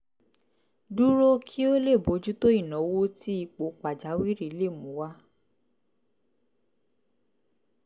dúró kí ó lè bójú tó ìnáwó tí ipò pàjáwìrì lè mú wá